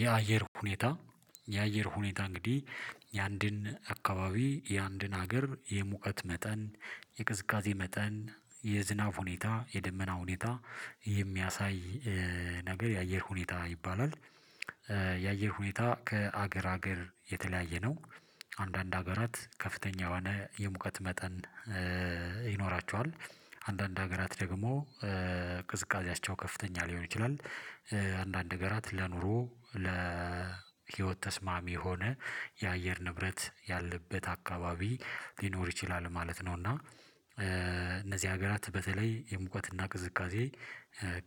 የአየር ሁኔታ የአየር ሁኔታ እንግዲህ የአንድን አካባቢ የአንድን ሀገር የሙቀት መጠን የቅዝቃዜ መጠን የዝናብ ሁኔታ የደመና ሁኔታ የሚያሳይ ነገር የአየር ሁኔታ ይባላል። የአየር ሁኔታ ከአገር አገር የተለያየ ነው። አንዳንድ ሀገራት ከፍተኛ የሆነ የሙቀት መጠን ይኖራቸዋል። አንዳንድ ሀገራት ደግሞ ቅዝቃዜያቸው ከፍተኛ ሊሆን ይችላል። አንዳንድ ሀገራት ለኑሮ ለህይወት ተስማሚ የሆነ የአየር ንብረት ያለበት አካባቢ ሊኖር ይችላል ማለት ነው። እና እነዚህ ሀገራት በተለይ የሙቀትና ቅዝቃዜ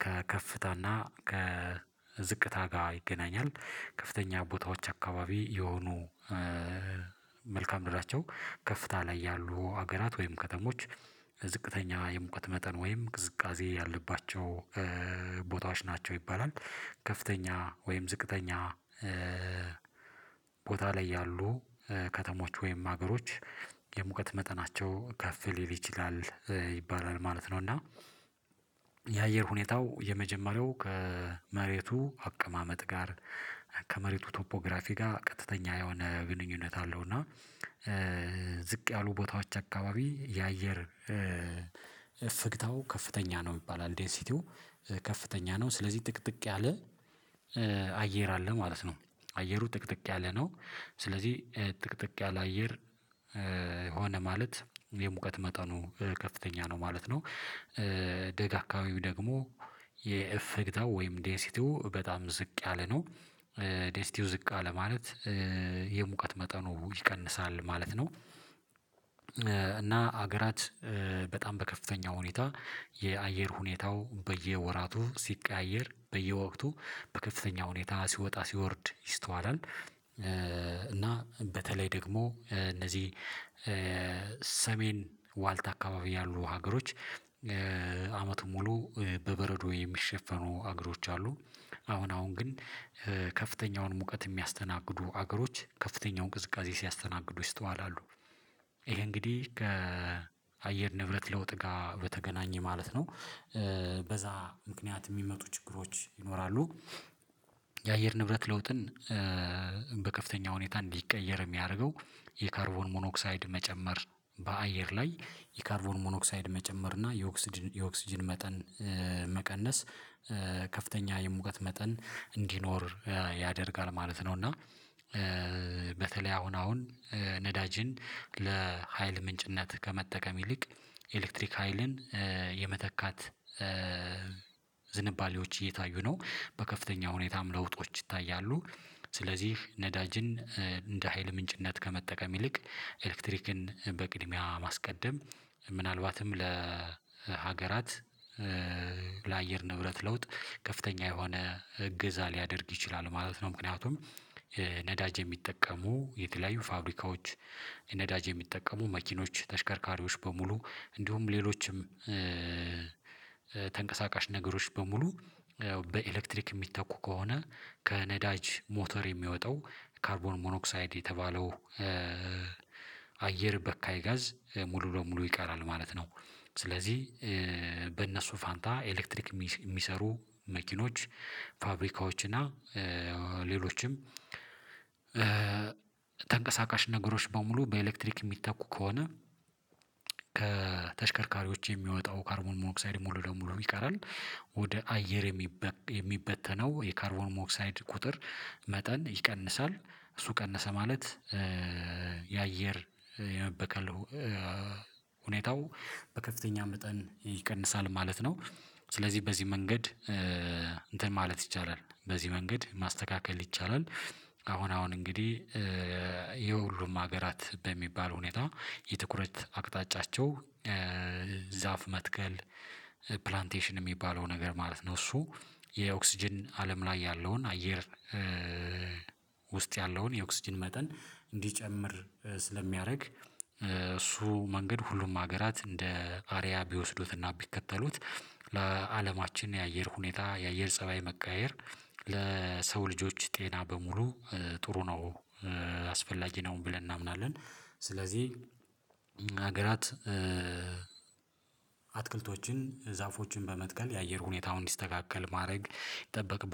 ከከፍታና ከዝቅታ ጋር ይገናኛል። ከፍተኛ ቦታዎች አካባቢ የሆኑ መልካ ምድራቸው ከፍታ ላይ ያሉ ሀገራት ወይም ከተሞች ዝቅተኛ የሙቀት መጠን ወይም ቅዝቃዜ ያለባቸው ቦታዎች ናቸው። ይባላል ከፍተኛ ወይም ዝቅተኛ ቦታ ላይ ያሉ ከተሞች ወይም ሀገሮች የሙቀት መጠናቸው ከፍ ሊል ይችላል ይባላል ማለት ነው። እና የአየር ሁኔታው የመጀመሪያው ከመሬቱ አቀማመጥ ጋር ከመሬቱ ቶፖግራፊ ጋር ቀጥተኛ የሆነ ግንኙነት አለው። እና ዝቅ ያሉ ቦታዎች አካባቢ የአየር እፍግታው ከፍተኛ ነው ይባላል እንደ ሲቲው ከፍተኛ ነው ስለዚህ ጥቅጥቅ ያለ አየር አለ ማለት ነው አየሩ ጥቅጥቅ ያለ ነው ስለዚህ ጥቅጥቅ ያለ አየር ማለት የሙቀት መጠኑ ከፍተኛ ነው ማለት ነው። ደጋጋዊው ደግሞ የእፍግታው ወይም ዴንሲቲው በጣም ዝቅ ያለ ነው ዴንሲቲው ዝቅ አለ ማለት የሙቀት መጠኑ ይቀንሳል ማለት ነው። እና ሀገራት በጣም በከፍተኛ ሁኔታ የአየር ሁኔታው በየወራቱ ሲቀያየር በየወቅቱ በከፍተኛ ሁኔታ ሲወጣ ሲወርድ ይስተዋላል። እና በተለይ ደግሞ እነዚህ ሰሜን ዋልታ አካባቢ ያሉ ሀገሮች አመቱን ሙሉ በበረዶ የሚሸፈኑ አገሮች አሉ። አሁን አሁን ግን ከፍተኛውን ሙቀት የሚያስተናግዱ አገሮች ከፍተኛውን ቅዝቃዜ ሲያስተናግዱ ይስተዋላሉ። ይሄ እንግዲህ ከአየር ንብረት ለውጥ ጋር በተገናኘ ማለት ነው በዛ ምክንያት ሚመጡ ችግሮች ይኖራሉ። የአየር ንብረት ለውጥን በከፍተኛ ሁኔታ እንዲቀየር የሚያደርገው የካርቦን ሞኖክሳይድ መጨመር በአየር ላይ የካርቦን ሞኖክሳይድ መጨመር እና የኦክስጅን የኦክስጅን መጠን መቀነስ ከፍተኛ የሙቀት መጠን እንዲኖር ያደርጋል ማለት ነው። እና አሁን አሁን ነዳጅን ለሀይል ምንጭነት ከመጠቀም ይልቅ ኤሌክትሪክ ሀይልን የመተካት ዝንባሌዎች እየታዩ ነው በከፍተኛ ሁኔታም ለውጦች ይታያሉ። ስለዚህ ነዳጅን እንደ ሀይል ምንጭነት ከመጠቀም ይልቅ ኤሌክትሪክን በቅድሚያ ማስቀደም ምናልባትም ለሀገራት ለአየር ንብረት ለውጥ ከፍተኛ የሆነ እገዛ ሊያደርግ ይችላል ማለት ነው። ምክንያቱም ነዳጅ የሚጠቀሙ የተለያዩ ፋብሪካዎች ነዳጅ የሚጠቀሙ መኪኖች ተሽከርካሪዎች በሙሉ እንዲሁም ሌሎችም ተንቀሳቃሽ ነገሮች በሙሉ በኤሌክትሪክ ሚተኩ ከሆነ ከነዳጅ ሞተር የሚወጣው ካርቦን ሞኖክሳይድ የተባለው አየር በካይ ጋዝ ሙሉ በሙሉ ይቀራል ማለት ነው። ስለዚህ በእነሱ ፋንታ ኤሌክትሪክ ሚሰሩ መኪናዎች ፋብሪካዎች እና ሌሎችም ተንቀሳቃሽ ነገሮች በሙሉ በኤሌክትሪክ የሚተኩ ከሆነ ከተሽከርካሪዎች የሚወጣው ካርቦን ሞኖክሳይድ ሙሉ ለሙሉ ይቀራል። ወደ አየር የሚበተነው የካርቦን ሞኖክሳይድ ቁጥር መጠን ይቀንሳል እሱ ቀነሰ ማለት የአየር የመበከል ሁኔታው በከፍተኛ መጠን ይቀንሳል ማለት ነው። ስለዚህ በዚህ መንገድ እንትን ማለት ይቻላል በዚህ መንገድ ማስተካከል ይቻላል። አሁን አሁን እንግዲህ የሁሉም ሀገራት በሚባል ሁኔታ የትኩረት አቅጣጫቸው ዛፍ መትከል ፕላንቴሽን ሚባለው ነገር ማለት ነው። እሱ የኦክስጅን አለም ላይ ያለውን አየር ውስጥ ያለውን የኦክስጅን መጠን እንዲጨምር ስለሚያደርግ እሱ መንገድ ሁሉም ሀገራት እንደ አርያ ቢወስዱትና ቢከተሉት ለአለማችን የአየር ሁኔታ የአየር ፀባይ መቀያየር ለሰው ልጆች ጤና በሙሉ ጥሩ ነው አስፈላጊ ነውም ብለን እናምናለን። ስለዚህ ሀገራት አትክልቶችን ዛፎችን በመትከል የአየር ሁኔታውን እንዲስተካከል ማድረግ ይጠበቅባ